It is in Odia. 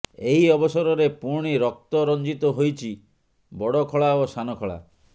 ଏହି ଅବସରରେ ପୁଣି ରକ୍ତ ରଞ୍ଜିତ ହୋଇଛି ବଡ଼ଖଳା ଓ ସାନଖଳା